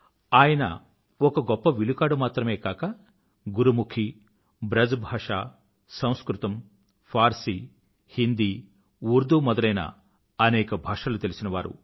ఆయన ఒక గొప్ప విలుకాడు మాత్రమే కాక గురుముఖి బ్రజ్ భాష సంస్కృతం ఫార్సీ హిందీ ఉర్దూ మొదలైన అనేక భాషలు తెలిసిన వారు